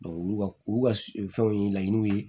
olu ka olu ka fɛnw ye laɲiniw ye